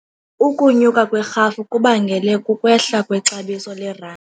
Ukunyuka kwerhafu kubangele kukwehla kwexabiso lerandi.